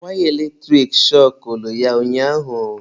Wire eletrik shọkụlụ ya ụnyaahụ.